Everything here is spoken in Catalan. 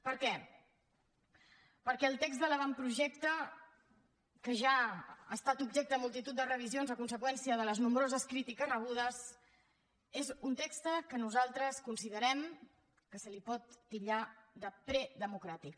per què perquè el text de l’avantprojecte que ja ha estat objecte de multitud de revisions a conseqüència de les nombroses crítiques rebudes és un text que nosaltres considerem que es pot titllar de predemocràtic